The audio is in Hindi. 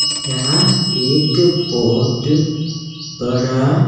यहां एक बहोत बड़ा।